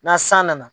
Na san nana